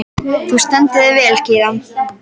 Þú stendur þig vel, Kíran!